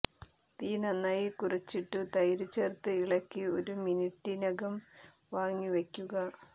തീ നന്നായി കുറച്ചിട്ടു തൈര് ചേര്ത്ത് ഇളക്കി ഒരു മിനിട്ടിനകം വാങ്ങി വയ്ക്കുക